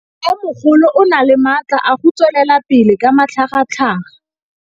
Mmêmogolo o na le matla a go tswelela pele ka matlhagatlhaga.